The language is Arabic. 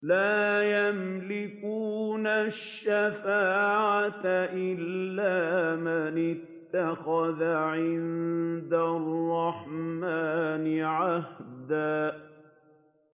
لَّا يَمْلِكُونَ الشَّفَاعَةَ إِلَّا مَنِ اتَّخَذَ عِندَ الرَّحْمَٰنِ عَهْدًا